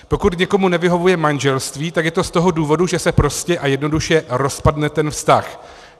Pokud někomu nevyhovuje manželství, tak je to z toho důvodu, že se prostě a jednoduše rozpadne ten vztah.